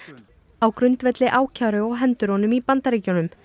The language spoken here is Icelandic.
á grundvelli ákæru á hendur honum í Bandaríkjunum